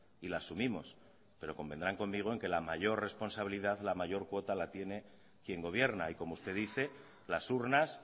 y la asumimos pero convendrán conmigo en que la mayor responsabilidad la mayor cuota la tiene quien gobierna y como usted dice las urnas